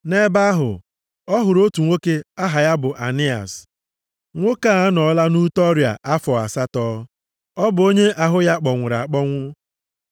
Nʼebe ahụ, ọ hụrụ otu nwoke aha ya bụ Ainias. Nwoke a anọọla nʼute ọrịa afọ asatọ. Ọ bụ onye ahụ ya kpọnwụrụ akpọnwụ.